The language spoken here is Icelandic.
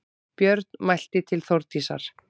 Björn mælti til Þórdísar